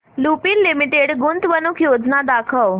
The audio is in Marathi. लुपिन लिमिटेड गुंतवणूक योजना दाखव